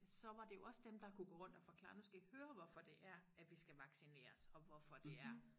Så var det jo også dem der kunne gå rundt og forklare nu skal i høre hvorfor det er at vi skal vaccineres og hvorfor det er